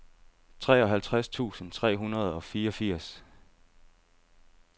treoghalvtreds tusind tre hundrede og fireogfirs